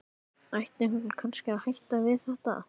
Ætti hún kannski að hætta við þetta?